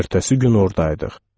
Elə ertəsi gün oradaydıq.